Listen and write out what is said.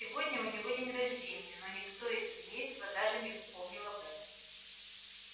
сегодня у него день рождения но никто из семейства даже не вспомнил об этом